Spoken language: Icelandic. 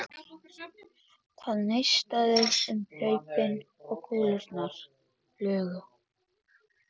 Það neistaði um hlaupin og kúlurnar flugu.